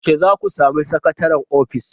Yaushe za ku sami sakataren ofis?